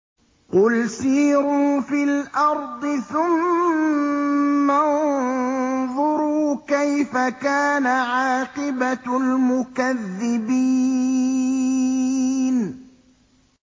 قُلْ سِيرُوا فِي الْأَرْضِ ثُمَّ انظُرُوا كَيْفَ كَانَ عَاقِبَةُ الْمُكَذِّبِينَ